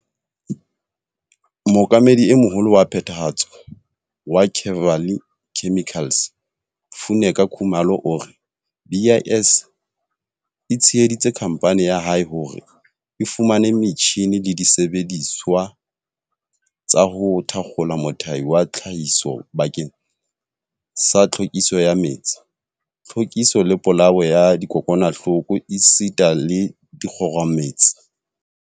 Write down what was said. Mookamedi e Moholo wa Phethahatso wa Kevali Chemicals, Funeka Khumalo, o re BIS e tsheheditse khamphane ya hae hore e fumane metjhine le disebedisuwa tsa ho thakgola mothati wa tlhahiso bakeng sa tlhwekiso ya metsi, tlhwekiso le polao ya dikokwanahloko esita le dikgomaretsi.